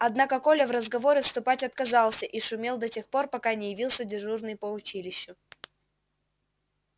однако коля в разговоры вступать отказался и шумел до тех пор пока не явился дежурный по училищу